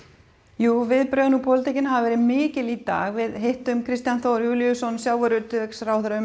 jú viðbrögðin í pólitíkinni hafa verið mikil í dag við hittum Kristján Þór Júlíusson sjávarútvegsráðherra um